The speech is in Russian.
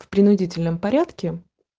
в принудительном порядке